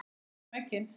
Við sækjum eggin.